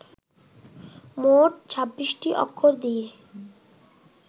মোট ছাব্বিশটি অক্ষর দিয়ে